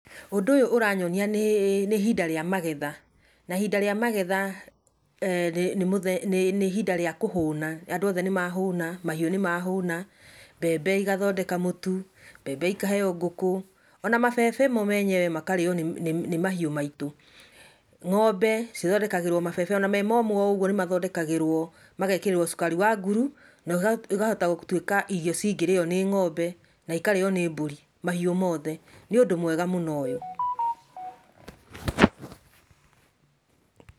Ũndũ ũyũ ũranyonia nĩ ihinda rĩa magetha. Na ihinda rĩa magetha nĩ ihinda rĩa kũhũna. Andũ othe nĩ mahũna, mahiũ nĩmahũna, mbembe ikathondeka mũtu, mbembe ikaheo ngũkũ, ona mabebe mo menyewe makarĩo nĩ mahiũ maitũ. Ng'ombe cithondekagĩrwo mabebe, ona me momũ o ũguo nĩ mathondekagĩrwo; magekĩrwo cukari wa nguru na ikahota gũtwĩka irio cingĩrĩo nĩ ng'ombe na ikarĩo nĩ mbũri, mahiũ mothe. Nĩ ũndũ mwega mũno ũyũ.